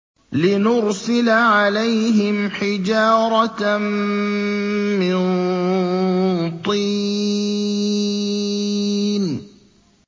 لِنُرْسِلَ عَلَيْهِمْ حِجَارَةً مِّن طِينٍ